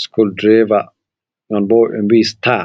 sokol direva. ɗon bo ɓebii sita'a.